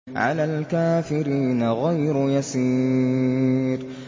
عَلَى الْكَافِرِينَ غَيْرُ يَسِيرٍ